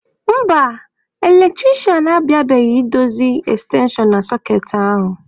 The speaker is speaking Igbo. Mba, eletrisha abịabeghị idozi ekstenshon na sọkeetị ahụ.